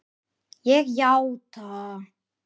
Ég játa.